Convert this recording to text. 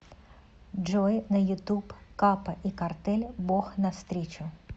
джой на ютуб капа и картель бог навстречу